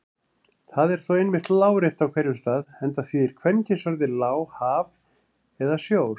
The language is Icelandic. Það er þó einmitt lárétt á hverjum stað enda þýðir kvenkynsorðið lá haf eða sjór.